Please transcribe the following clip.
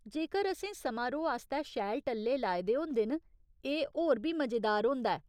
जेकर असें समारोह् आस्तै शैल टल्ले लाए दे होंदे न, एह् होर बी मजेदार होंदा ऐ।